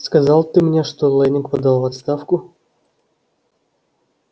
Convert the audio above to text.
сказал ты мне что лэннинг подал в отставку